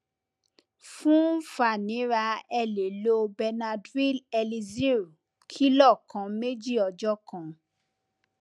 fun fàníra ẹ lè lo benadryl elixir kìlọ kan méjì ọjọ kan